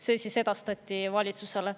See edastati valitsusele.